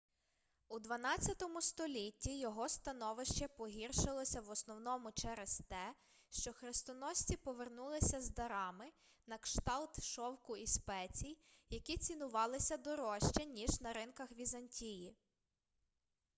у xii столітті його становище погіршилося в основному через те що хрестоносці повернулися з дарами на кшталт шовку і спецій які цінувалися дорожче ніж на ринках візантії